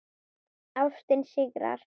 Ástin sigrar.